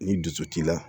Ni dusu t'i la